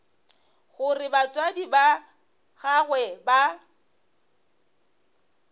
gore batswadi ba gagwe ba